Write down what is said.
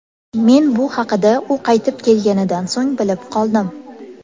Men bu haqida u qaytib kelganidan so‘ng bilib qoldim.